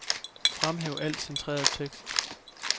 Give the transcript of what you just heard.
Fremhæv al centreret tekst.